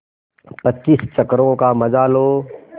पच्चीस चक्करों का मजा लो